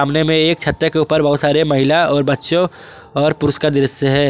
कोने में एक छत्ते के ऊपर बहुत सारे महिला और बच्चों और पुरुष का दृश्य है।